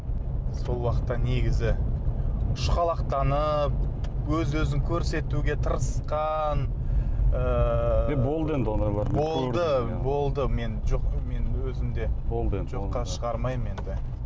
сол уақытта негізі ұшқалақтанып өз өзін көрсетуге тырысқан ыыы е болды енді ондайлар болды болды мен жоқ мен өзім де болды енді жоққа шығармаймын енді